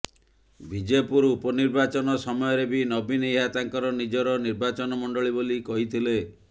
ବିଜେପୁର ଉପନିର୍ବାଚନ ସମୟରେ ବି ନବୀନ ଏହା ତାଙ୍କର ନିଜର ନିର୍ବାଚନ ମଣ୍ଡଳୀ ବୋଲି କହିଥିଲେ